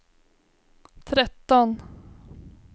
tretton